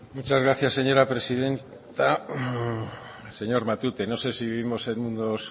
muchas gracias señora presidenta señor matute no sé si vivimos en mundos